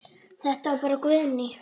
Þetta var bara Guðný.